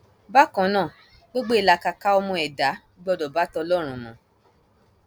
bákan náà gbogbo ìlàkàkà ọmọ ẹdá gbọdọ bá tọlọrun mu